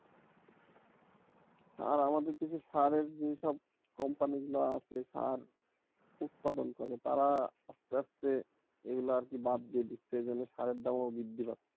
আর আমাদের দেশে সারের যেসব company গুলো আছে সার উৎপাদন করে তারা আস্তে আস্তে এগুলা আর কি বাদ দিয়ে দিচ্ছে এজন্যে সারের দাম ও বৃদ্ধি পাচ্ছে।